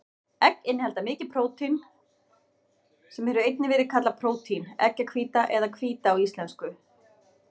Egg innihalda mikið prótein, sem hefur einnig verið kallað prótín, eggjahvíta eða hvíta á íslensku.